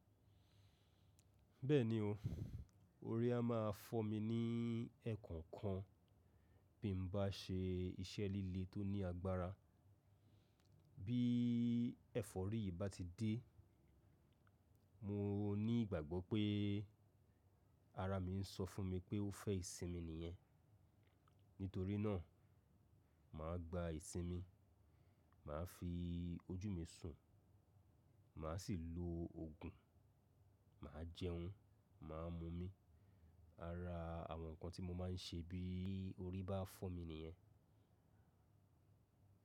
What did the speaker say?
Bẹ́ẹ̀ni o, orí a máa fọ́ mi ní ẹ̀ẹ̀kan kan bí mo bá se iṣẹ́ líle tó ní agbára. Bí ẹ̀fọ́rí yìí bá ti dé, mo ní ìgbàgbọ́ pé ara mi ń sọ fún mi pé ó fẹ́ ìsinmi nìyẹn. Nítorí náà, mà á gba ìsinmi, mà á fi ojú mi sùn, mà á sì lo òògùn, mà á jẹun, mà á mu omi. Ara àwọn nǹkan tí mo máa ń ṣe bí orí bá fọ́ mi nìyẹn.